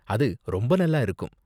அது ரொம்ப நல்லா இருக்கும்.